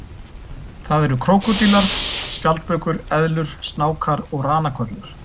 Það eru krókódílar, skjaldbökur, eðlur, snákar og ranakollur.